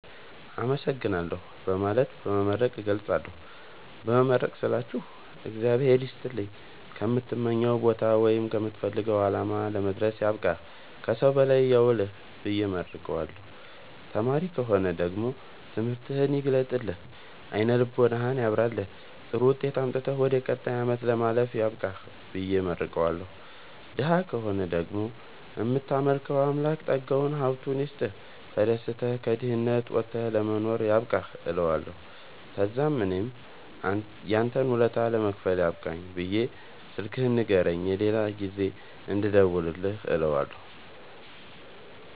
አመሠግናለሁ በማለትና በመመረቅ እገልፃለሁ። በመመረቅ ስላችሁ እግዚአብሄር ይስጥልኝ ከምትመኘዉ ቦታወይም ከምትፈልገዉ አላማ ለመድረስያብቃህ ከሠዉ በላይ ያዉልህብየ እመርቀዋለሁ። ተማሪ ከሆነ ደግሞ ትምህርትህን ይግለጥልህ አይነ ልቦናህን ያብራልህ ጥሩዉጤት አምጥተህ ወደ ቀጣይ አመት ለማለፍ ያብቃህ ብየ እመርቀዋለሁ። ደሀ ከሆነ ደግሞ እምታመልከዉ አምላክ ጠጋዉን ሀብቱይስጥህ ተደስተህ ከድህነት ወተህ ለመኖር ያብቃህእለዋለሁ። ተዛምእኔም ያንተን ወለታ ለመክፈል ያብቃኝ ብየ ስልክህን ንገረኝ የሌላ ጊዜ እንድደዉልልህ እለዋለሁ